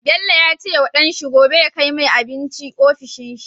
Bello yace wa dan shi gobe ya kai mai abinci ofishin shi